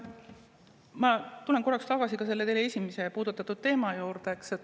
Ma tulen korraks tagasi ka teie esimesena puudutatud teema juurde.